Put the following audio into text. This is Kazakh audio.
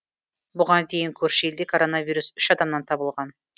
бұған дейін көрші елде коронавирус үш адамнан табылған